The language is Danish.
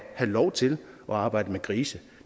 lov til at arbejde med grise